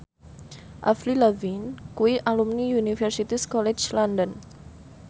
Avril Lavigne kuwi alumni Universitas College London